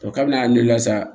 kabini a ne la sa